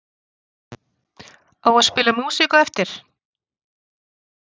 Á að spila músík á eftir?